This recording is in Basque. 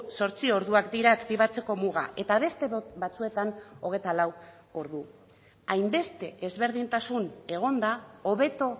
zortzi orduak dira aktibatzeko muga eta beste batzuetan hogeita lau ordu hainbeste ezberdintasun egonda hobeto